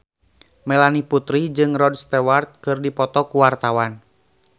Melanie Putri jeung Rod Stewart keur dipoto ku wartawan